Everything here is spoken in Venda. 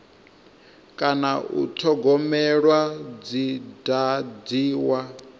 kana u thogomelwa dzi dadziwa